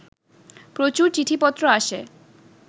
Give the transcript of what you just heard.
প্রচুর চিঠিপত্র আসে